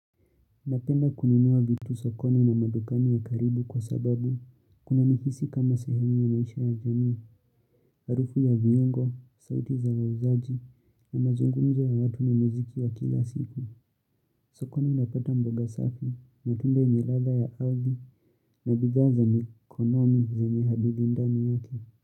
Napenda kununua vitu sokoni na madukani ya karibu kwa sababu kunanihisi kama sehemu ya maisha ya jamii, harufu ya viungo, sauti za wauzaji na mazungumzo ya watu ni muziki wa kila siku. Sokoni napata mboga safi, matunda yenye ladha ya ardhi na bidhaa ni konomi zenye hadidi ndani yake.